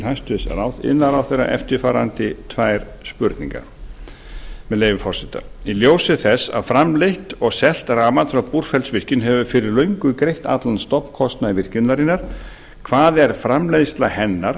hæstvirts iðnaðarráðherra eftirfarandi tvær spurningar með leyfi forseta í ljósi þess að framleitt og selt rafmagn frá búrfellsvirkjun hefur fyrir löngu greitt allan stofnkostnað virkjunarinnar hvað er framleiðsla hennar